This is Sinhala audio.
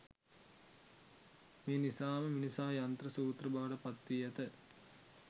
මේ නිසාම මිනිසා යන්ත්‍ර සූත්‍ර බවට පත් වී ඇත.